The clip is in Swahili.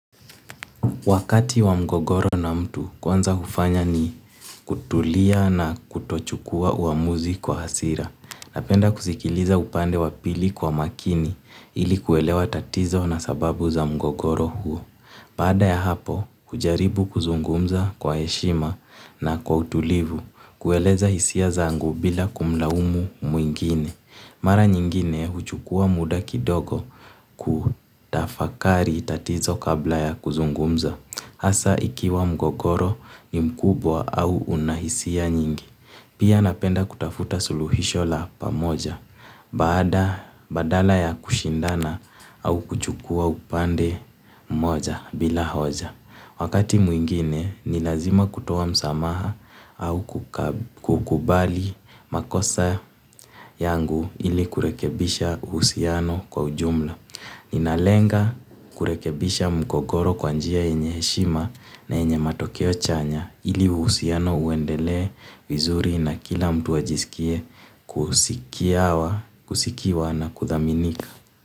Wakati wa mgogoro na mtu kwanza ufanya ni kutulia na kutochukua uamuzi kwa hasira napenda kusikiliza upande wa pili kwa makini ili kuelewa tatizo na sababu za mgogoro huo. Baada ya hapo hujaribu kuzungumza kwa eshima na kwa utulivu kueleza isia zangu bila kumlaumu mwingine. Mara nyingine uchukua muda kidogo kutafakari tatizo kabla ya kuzungumza. Asa ikiwa mgogoro ni mkubwa au una hisia nyingi. Pia napenda kutafuta suluhisho la pamoja. Baada badala ya kushindana au kuchukua upande mmoja bila hoja. Wakati mwingine, ni lazima kutoa msamaha au kukubali makosa yangu ili kurekebisha husiano kwa ujumla. Ninalenga kurekebisha mgogoro kwa njia yenye heshima na yenye matokeo chanya ili uhusiano uendelee vizuri na kila mtu ajisikie kusikiwa na kuthaminika.